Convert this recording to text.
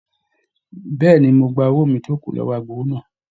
Bẹ̀ẹ́ni, mo gbà owó mí tó kù lọwọ agbowó náà.